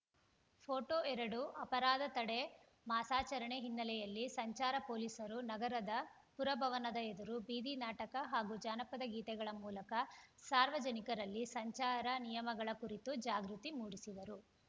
photo ಎರಡು ಅಪರಾಧ ತಡೆ ಮಾಸಾಚರಣೆ ಹಿನ್ನೆಲೆಯಲ್ಲಿ ಸಂಚಾರ ಪೊಲೀಸರು ನಗರದ ಪುರಭವನದ ಎದುರು ಬೀದಿ ನಾಟಕ ಹಾಗೂ ಜನಪದ ಗೀತೆಗಳ ಮೂಲಕ ಸಾರ್ವಜನಿಕರಲ್ಲಿ ಸಂಚಾರ ನಿಯಮಗಳ ಕುರಿತು ಜಾಗೃತಿ ಮೂಡಿಸಿದರು